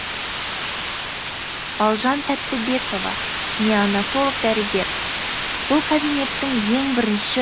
балжан тәттібекова неонатолог дәрігер бұл кабинеттің ең бірінші